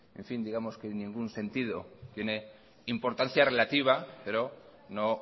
digamos que ningún sentido tiene importancia relativa pero no